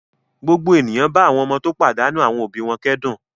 Gbogbo ènìyàn bá àwọn ọmọ tó pàdánù àwọn òbí wọn kẹ́dùn.